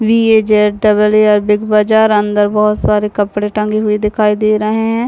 B A Z double A R Big Bazaar अंदर बोहोत सारे कपड़े टंगे हुए दिखाई दे रहे है।